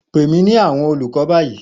Pe mi ni awọn olukọ bayi!